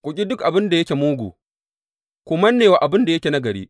Ku ƙi duk abin da yake mugu; ku manne wa abin da yake nagari.